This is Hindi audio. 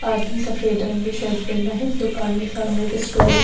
आदमी सफेद रंग की शर्ट पेहना है दुकान के सामने एक स्टूल है।